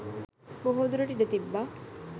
බොහෝදුරට ඉඩ තිබ්බා.